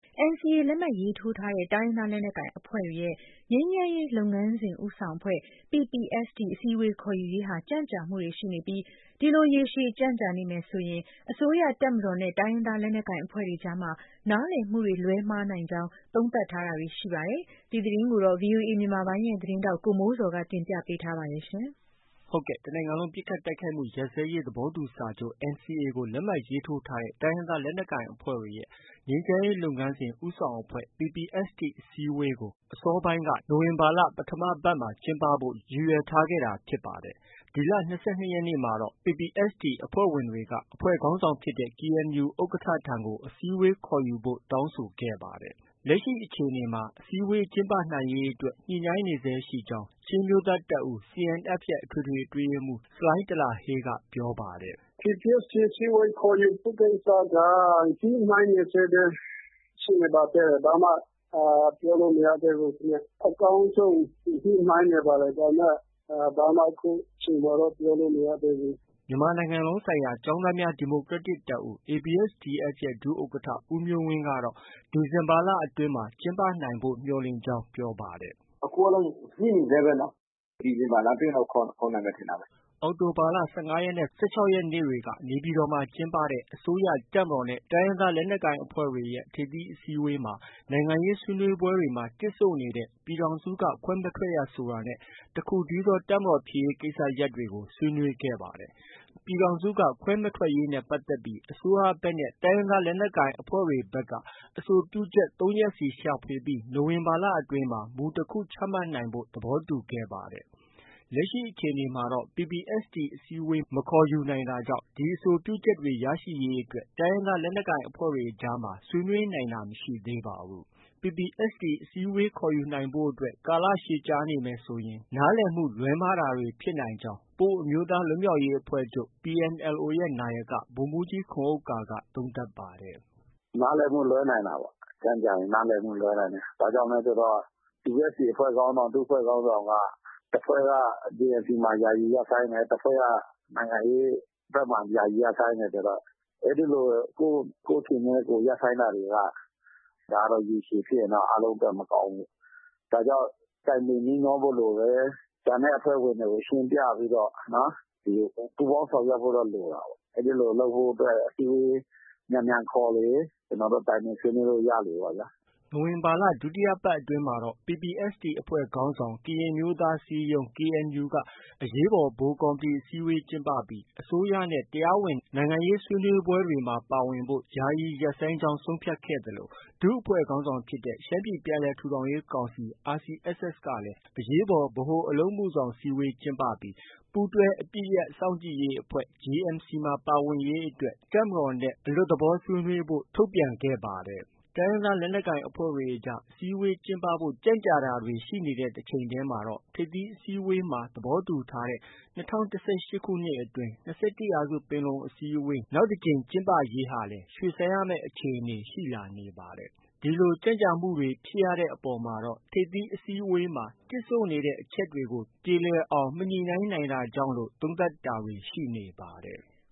NCA လက်မှတ်ရေးထိုးထားတဲ့ တိုင်းရင်းသားလက်နက်ကိုင်အဖွဲ့တွေရဲ့ ငြိမ်းချမ်းရေးလုပ်ငန်းစဉ် ဦးဆောင်အဖွဲ့ PPST အစည်းအဝေးခေါ်ယူရေးဟာ ကြန့်ကြာမှုတွေ ရှိနေပြီး ဒီလို ရေရှည်ကြန့်ကြာနေမယ်ဆိုရင် အစိုးရ၊ တပ်မတော်နဲ့ တိုင်းရင်းသားလက်နက်ကိုင်အဖွဲ့တွေအကြားမှာ နားလည်မှုတွေ လွဲမှားနိုင်ကြောင်း သုံးသပ်တာတွေ ရှိနေပါတယ်။ ဒီသတင်းကိုတော့ ဗီအိုအေမြန်မာပိုင်းရဲ့သတင်းထောက် ကိုမိုးဇော်က တင်ပြထားပါတယ်။ ဟုတ်ကဲ့။ တစ်နိုင်ငံလုံးပစ်ခတ်တိုက်ခိုက်မှုရပ်စဲရေးသဘောတူစာချုပ် NCA ကို လက်မှတ်ရေးထိုးထားတဲ့ တိုင်းရင်းသားလက်နက်ကိုင်အဖွဲ့တွေရဲ့ ငြိမ်းချမ်းရေးလုပ်ငန်းစဉ် ဦးဆောင်အဖွဲ့ PPST အစည်းအဝေးကို အစောပိုင်းက နိုဝင်ဘာလပထမပတ်မှာ ကျင်းပဖို့ ရည်ရွယ်ထားခဲ့တာဖြစ်ပါတယ်။ ဒီလ ၂၂ရက်နေ့မှာတော့ PPST အဖွဲ့ဝင်တွေက အဖွဲ့ခေါင်းဆောင်ဖြစ်တဲ့ KNU ဥက္ကဌထံကို အစည်းအဝေးခေါ်ယူဖို့ တောင်းဆိုခဲ့ပါတယ်။ လက်ရှိအခြေအနေမှာတော့ အစည်းအဝေးကျင်းပနိုင်ရေးအတွက်ညှိနှိုင်းနေဆဲရှိကြောင်း ချင်းအမျိုးသားတပ်ဦးရဲ့ အထွေထွေအတွင်းရေးမှုးဆလိုင်းထလာဟေးက ပြောပါတယ်။ “ PPST အစည်းအဝေး ခေါ်ယူဖို့ ကိစ္စက ညှိနှိုင်းနေဆဲပဲရှိနေပါသေးတယ်။ ဘာမှ ပြောလို့ မရသေးဘူး။ အကောင်းဆုံးညှိနှိုင်းနေပါတယ်။ ဒါပေမဲ့ အခုချိန်မှာတော့ ဘာမှ ပြောလို့ မရသေးဘူး။” မြန်မာနိုင်ငံလုံးဆိုင်ရာ ကျောင်းသားများ ဒီမိုကရက်တစ်တပ်ဦး ABSDF ရဲ့ ဒုဥက္ကဌ ဦးမျိုးဝင်းကတော့ ဒီဇင်ဘာလအတွင်းမှာ ကျင်းပနိုင်ဖို့ မျှော်လင့်ကြောင်း ပြောပါတယ်။ “ အခုကတော့ ညှိနေဆဲပဲနော်။ ဒီဇင်ဘာလအတွင်းတော့ ခေါ်နိုင်မယ်ထင်တာပဲ။ ” အောက်တိုဘာလ ၁၅ရက်နဲ့ ၁၆ရက်နေ့တွေက နေပြည်တော်မှာ ကျင်းပခဲ့တဲ့အစိုးရ၊ တပ်မတော်နဲ့ လက်နက်ကိုင်အဖွဲ့တွေ ထိပ်သီးအစည်းအဝေးမှာ နိုင်ငံရေးဆွေးနွေးပွဲတွေမှာ တစ်ဆို့နေတဲ့ ပြည်ထောင်စုက ခွဲမထွက်ရဆိုတာနဲ့ တခုတည်းသော တပ်မတော်ဖြစ်ရေးကိစ္စရပ်တွေကို ဆွေးနွေးခဲ့ပါတယ်။ ပြည်ထောင်စုက ခွဲမထွက်ရေးနဲ့ပတ်သက်ပြီး အစိုးရဘက် နဲ့ တိုင်းရင်းသားလက်နက်ကိုင်အဖွဲ့တွေက အဆိုပြုချက်၃ရပ်စီရှာဖွေပြီး နိုဝင်ဘာလအတွင်းမှာမူတစ်ခု ချမှတ်နိုင်ဖို့ သဘောတူညီခဲ့ပါတယ်။ လက်ရှိအခြေအနေမှာတော့ PPST အစည်းအဝေး မခေါ်ယူနိုင်တာကြောင့် ဒီအဆိုပြုချက်တွေ ရရှိရေးအတွက် တိုင်းရင်းသားလက်နက်ကိုင်အဖွဲ့တွေအကြားမှာ ဆွေးနွေးနိုင်တာမရှိသေးပါဘူး။ PPST အစည်းအဝေးခေါ်ယူဖို့အတွက် ကာလရှည်ကြာနေမယ်ဆိုရင်နားလည်မှုလွဲမှားတာတွေ ဖြစ်နိုင်ကြောင်း ပအိုဝ်းအမျိုးသားလွတ်မြောက်ရေးအဖွဲ့ချုပ် PNLO ရဲ့ နာယက ဗိုလ်မှုးကြီးခွန်ဥက္ကာက သုံးသပ်ပါတယ်။ “ နားလည်မှုလွဲနိုင်တာပေါ့။ ကြန့်ကြာရင် နားလည်မှုလွဲနိုင်တယ်။ PPST အဖွဲ့ခေါင်းဆောင်၊ ဒုအဖွဲ့ခေါင်းဆောင်က တစ်ဖွဲ့က JMC မှာ ယာယီရပ်ဆိုင်းတယ်။ တစ်ဖွဲ့က နိုင်ငံရေးဘက်မှာ ယာယီရပ်ဆိုင်းတယ်ဆိုတော့ အဲဒီလို ကိုယ့်အခြေအနေနဲ့ ကိုယ်ရပ်ဆိုင်းတာတွေက ရေရှည်ဖြစ်ရင်တော့ အားလုံးအတွက် မကောင်းဘူးပေါ့။ ဒါကြောင့် တိုင်ပင်နှီးနှောဖို့ လိုတယ်။ ကျန်တဲ့အဖွဲ့ဝင်တွေကို ရှင်းပြပြီးတော့ ပူးပေါင်းဆောင်ရွက်ဖို့တော့ လိုတာပေါ့။ အဲဒီလို လုပ်ဖို့အတွက် အစည်းအဝေးမြန်မြန်ခေါ်လေ ကျနော်တို့ တိုင်ပင်ဆွေးနွေးဖို့ ရလေပေါ့ဗျာ။” နိုဝင်ဘာ ဒုတိယအပတ်အတွင်းမှာPPST အဖွဲ့ ခေါင်းဆောင် ကရင်အမျိုးသားအစည်းအရုံး KNU က အရေးပေါ် ဗဟိုကော်မတီအစည်းအဝေးကျင်းပပြီး အစိုးရနဲ့ တရားဝင်နိုင်ငံရေးဆွေးနွေးပွဲတွေမှာ ပါဝင်ဖို့ ယာယီရပ်ဆိုင်းကြောင်း ဆုံးဖြတ်ခဲ့သလို ဒုအဖွဲ့ခေါင်းဆောင်ဖြစ်တဲ့ ရှမ်းပြည်ပြန်လည်ထူထောင်ရေးကောင်စီ RCSS ကလည်း အရေးပေါ် ဗဟိုအလုပ်မှုဆောင်အစည်းအဝေးကျင်းပပြီး ပူးတွဲအပစ်ရပ်စောင့်ကြည့်ရေးအဖွဲ့ JMC မှာ ပါဝင်ရေးအတွက် တပ်မတော်နဲ့ အလွတ်သဘော ဆွေးနွေးဖို့ ထုတ်ပြန်ခဲ့တာဖြစ်ပါတယ်။ တိုင်းရင်းသားလက်နက်ကိုင်အဖွဲ့တွေအကြား အစည်းအဝေးကျင်းပဖို့ ကြန့်ကြာတာတွေ ရှိတဲ့တစ်ချိန်တည်းမှာတော့ ထိပ်သီးအစည်းအဝေးမှာ သဘောတူညီထားတဲ့ ၂၀၁၈ခုနှစ်အတွင် ၂၁ရာစုပင်လုံအစည်းအဝေး နောက်တစ်ကြိမ်ကျင်းပရေးဟာလည်း ရွှေ့ဆိုင်းရမယ့် အခြေအနေတွေ ရှိလာနေပါတယ်။ ဒီလို ကြန့်ကြာမှုတွေဖြစ်ရတဲ့အပေါ်မှာတော့ ထိပ်သီးအစည်းအဝေးမှာ တစ်ဆို့နေတဲ့ အချက်တွေကို ပြေလည်အောင်မညှိနှိုင်းနိုင်တာကြောင့်လို့ သုံးသပ်တာတွေလည်း ရှိနေပါတယ်။